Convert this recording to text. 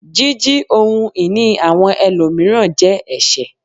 Jíjí ohun ìní àwọn ẹlòmíràn je ẹsẹ